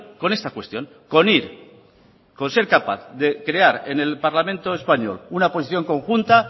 con esta cuestión con ir con ser capaz de crear en el parlamento español una posición conjunta